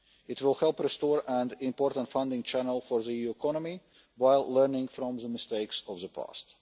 It will help restore an important funding channel for the EU economy, while learning from the mistakes of the past.